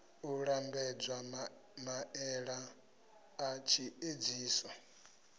u lambedza maele a tshiedziso